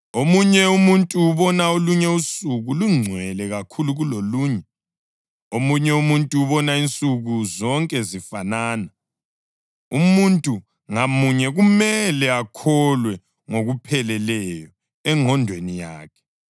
Omunye umuntu ubona olunye usuku lungcwele kakhulu kulolunye; omunye umuntu ubona insuku zonke zifanana. Umuntu ngamunye kumele akholwe ngokupheleleyo engqondweni yakhe.